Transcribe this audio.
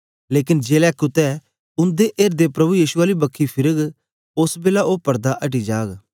लेकन जेलै कुत्ते उंदा एर्दें प्रभु यीशु आली बक्खी फिरग ओस बेलै ओ पड़दा अटी जाग